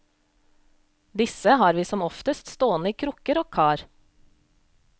Disse har vi som oftest stående i krukker og kar.